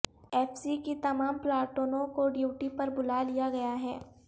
F C کی تمام پلاٹونوں کو ڈیوٹی پر بلا لیا گیا ہے